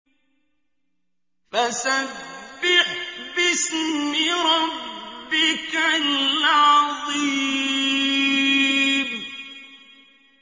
فَسَبِّحْ بِاسْمِ رَبِّكَ الْعَظِيمِ